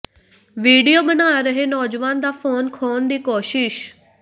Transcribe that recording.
video ਬਣਾ ਰਹੇ ਨੌਜਵਾਨ ਦਾ ਫ਼ੋਨ ਖੋਹਣ ਦੀ ਕੋਸ਼ਿਸ਼